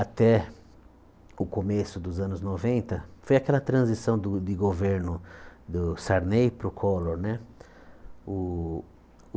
Até o começo dos anos noventa, foi aquela transição do de governo do Sarney para o Collor né. O